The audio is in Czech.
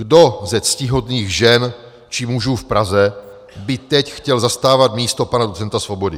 Kdo ze ctihodných žen či mužů v Praze by teď chtěl zastávat místo pana docenta Svobody?